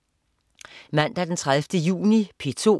Mandag den 30. juni - P2: